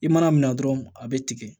I mana mina dɔrɔn a bɛ tigɛ